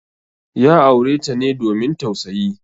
Ya aure ta ne domin tausayi.